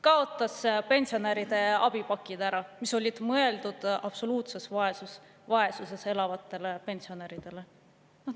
Kaotas ära pensionäride abipakid, mis olid mõeldud absoluutses vaesuses elavatele pensionäridele.